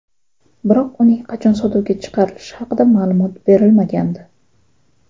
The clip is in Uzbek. Biroq uning qachon sotuvga chiqarilishi haqida ma’lumot berilmagandi.